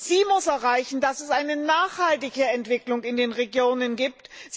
Sie muss erreichen, dass es eine nachhaltige Entwicklung in den Regionen gibt.